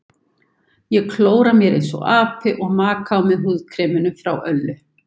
Ég klóra mér einsog api og maka á mig húðkreminu frá Öllu.